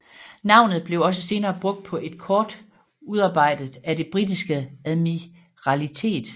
Navnet blev også senere brugt på et kort udarbejdet af det Britiske Admiralitet